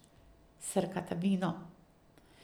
Srkata vino.